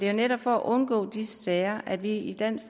jo netop for at undgå disse sager at vi i dansk